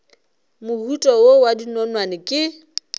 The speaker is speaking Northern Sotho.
mohuta wo wa dinonwane ke